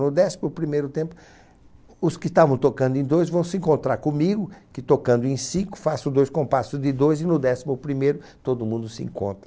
No décimo primeiro tempo, os que estavam tocando em dois vão se encontrar comigo, que tocando em cinco faço dois compassos de dois e no décimo primeiro todo mundo se encontra.